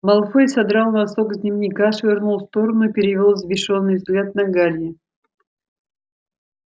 малфой содрал носок с дневника швырнул в сторону и перевёл взбешённый взгляд на гарри